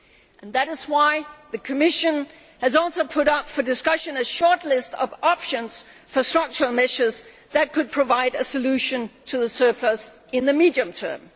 And that is why the Commission has also put up for discussion a shortlist of options for structural measures that could provide a solution to the surplus in the medium term.